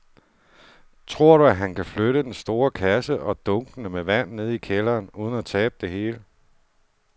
Tror du, at han kan flytte den store kasse og dunkene med vand ned i kælderen uden at tabe det hele?